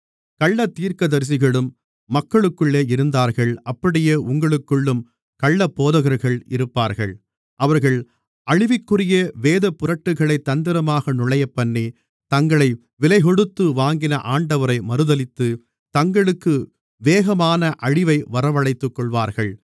கள்ளத்தீர்க்கதரிசிகளும் மக்களுக்குள்ளே இருந்தார்கள் அப்படியே உங்களுக்குள்ளும் கள்ளப்போதகர்கள் இருப்பார்கள் அவர்கள் அழிவிற்குரிய வேதப்புரட்டுகளைத் தந்திரமாக நுழையப்பண்ணி தங்களை விலைக்கொடுத்து வாங்கின ஆண்டவரை மறுதலித்து தங்களுக்கு வேகமான அழிவை வரவழைத்துக்கொள்வார்கள்